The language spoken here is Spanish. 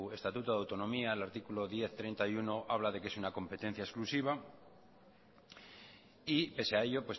estatuto de autonomía el artículo diez barra treinta y uno habla de que es una competencia exclusiva y pese a ello